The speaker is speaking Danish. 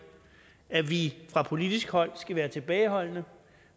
at vi fra politisk hold skal være tilbageholdende